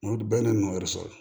N'o bɛɛ n'o yɛrɛ sɔrɔ